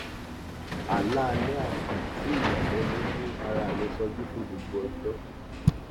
àlá alẹ àná sí ìyàlẹnu mú ara mì sọjí fún gbogbo ọjọ